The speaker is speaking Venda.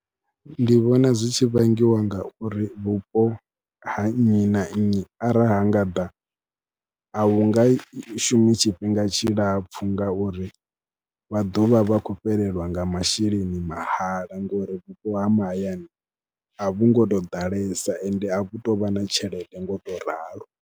Ndi vhona zwi tshi vhangiwa ngauri vhupo ha nnyi na nnyi arali ha nga ḓa, a hu nga shumi tshifhinga tshilapfhu ngauri vha ḓo vha vha khou fhelelwa nga masheleni mahala ngori vhupo ha mahayani a vhu ngo tou ḓalesa ende a vhu tou vha na tshelede ngo tou ralo.